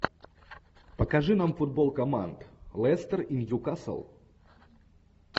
покажи нам футбол команд лестер и ньюкасл